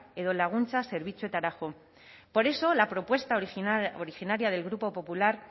edo laguntza zerbitzuetara joan por eso la propuesta original originaria del grupo popular